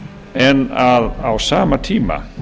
en að á sama tíma